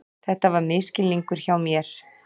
Þetta var misskilningur hjá mér.